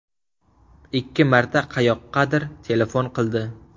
Ikki marta qayoqqadir telefon qildi.